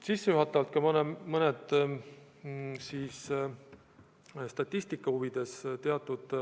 Sissejuhatuseks ma esitan statistika huvides teatud